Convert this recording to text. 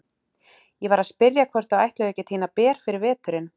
Ég var að spyrja hvort þau ætluðu ekki að tína ber fyrir veturinn.